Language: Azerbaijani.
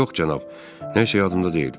Yox cənab, nə isə yadımda deyil.